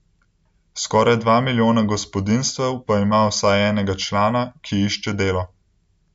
Skoraj dva milijona gospodinjstev pa ima vsaj enega člana, ki išče delo.